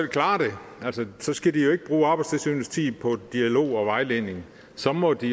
klare det så skal de jo ikke bruge arbejdstilsynets tid på dialog og vejledning så må de